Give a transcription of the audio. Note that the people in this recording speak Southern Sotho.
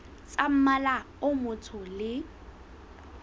tsa mmala o motsho le